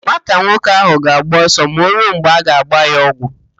Nwata nwoke ahụ ga-agba ọsọ ma o ruo mgbe a ga-agba ya ọgwụ.